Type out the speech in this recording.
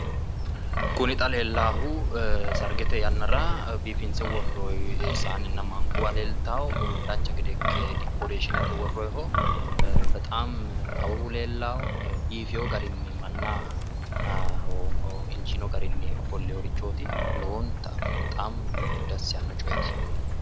Kuni xa leellaahu sargete yannara biifinse worroyi saanenna manguwa leeltawo. Dancha gede ikke dikoreeshiinete worroyiho. Bexaami awawu leellawo biifiwo garinninna injiino garinni ofollinorichooti. Lowonta bexaami dassi yaanno coyiti.